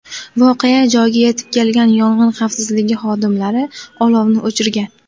Voqea joyiga yetib kelgan yong‘in xavfsizligi xodimlari olovni o‘chirgan.